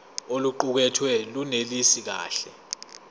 oluqukethwe lunelisi kahle